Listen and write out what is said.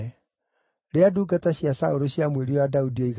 Rĩrĩa ndungata cia Saũlũ ciamwĩrire ũrĩa Daudi oiga-rĩ,